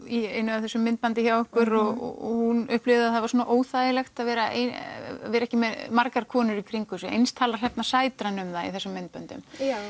í einu af þessum myndböndum frá ykkur og hún upplifir það var svona óþægilegt að vera ein vera ekki með margar konur í kringum sig og eins talar Hrefna Sætran um það í þessum myndböndum